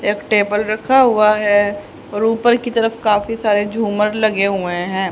एक टेबल रखा हुआ है और ऊपर की तरफ काफी सारे झूमर लगे हुए हैं।